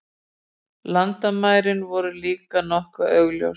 Landamærin voru líka nokkuð augljós.